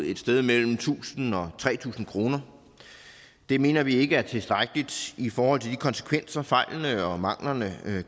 et sted mellem tusind og tre tusind kroner det mener vi ikke er tilstrækkeligt i forhold til de konsekvenser fejlene og manglerne